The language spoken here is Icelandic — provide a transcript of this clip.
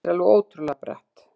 Þetta var alveg ótrúlega bratt.